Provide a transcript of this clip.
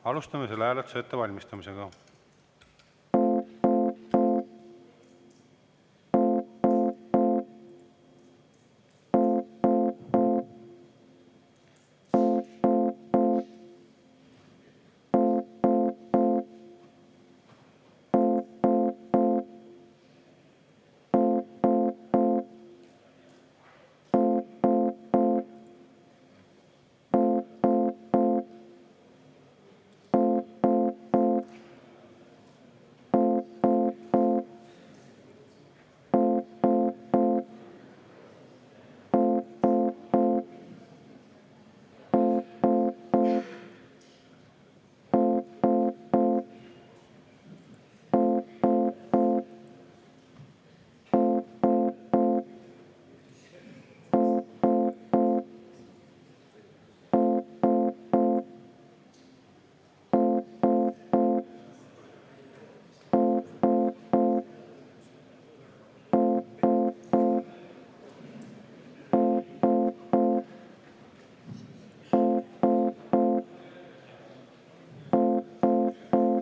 Alustame selle hääletuse ettevalmistamist.